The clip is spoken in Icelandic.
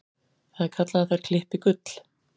Það er kallað að þær klippi gull.